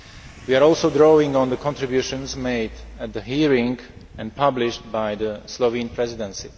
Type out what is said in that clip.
We are also drawing on the contributions made at the hearing and published by the Slovene Presidency.